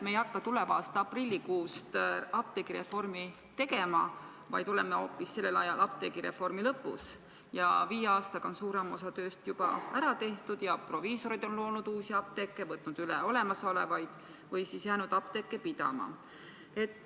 Me ei hakka tuleva aasta aprillikuust apteegireformi mitte tegema, vaid oleme sel ajal hoopis apteegireformi lõpus, ja viie aastaga on suurem osa tööst juba ära tehtud ja proviisorid on loonud uusi apteeke, võtnud üle olemasolevaid või jäänud apteeke pidama.